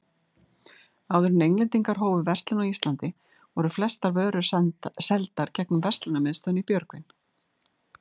Áður en Englendingar hófu verslun á Íslandi, voru flestar vörur seldar gegnum verslunarmiðstöðina í Björgvin.